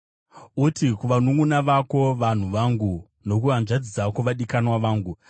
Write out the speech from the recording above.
“Uti kuvanunʼuna vako, ‘Vanhu vangu,’ nokuhanzvadzi dzako ‘vadikanwa vangu.’ ”